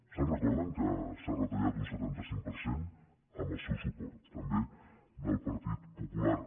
se’n recorden que s’ha retallat un setanta cinc per cent amb el seu suport també del partit popular